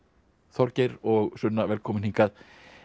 Þorgeir og Sunna velkomin hingað